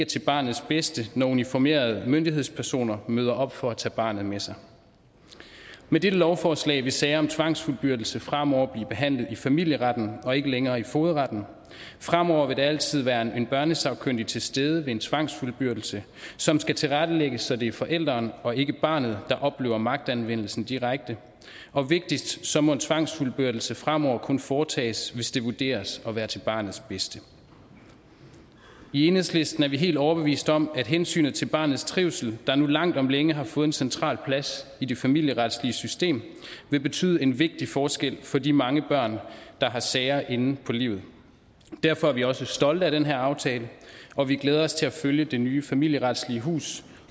til barnets bedste når uniformerede myndighedspersoner møder op for at tage barnet med sig med disse lovforslag vil sager om tvangsfuldbyrdelse fremover blive behandlet i familieretten og ikke længere i fogedretten fremover vil der altid være en børnesagkyndig til stede ved en tvangsfuldbyrdelse som skal tilrettelægges så det er forældrene og ikke barnet der oplever magtanvendelsen direkte og vigtigst så må tvangsfuldbyrdelse fremover kun foretages hvis det vurderes at være til barnets bedste i enhedslisten er vi helt overbevist om at hensynet til barnets trivsel der nu langt om længe har fået en central plads i det familieretslige system vil betyde en vigtig forskel for de mange børn der har sager inde på livet derfor er vi også stolte af den her aftale og vi glæder os til at følge det nye familieretslige hus